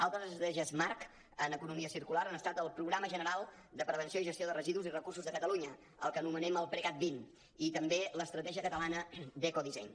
altres estratègies marc en economia circular han estat el programa general de prevenció i gestió de residus i recursos de catalunya el que anomenem el precat20 i també l’estratègia catalana d’ecodisseny